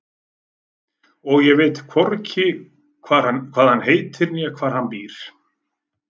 Og ég veit hvorki hvað hann heitir né hvar hann býr.